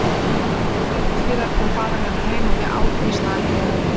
Stuttu síðar kom faðir hennar heim og við átum í snarheitum.